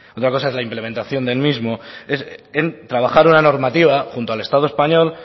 otra cosa es la implementación del mismo trabajar en una normativa junto al estado español